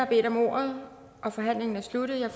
bedt om ordet og forhandlingen er sluttet jeg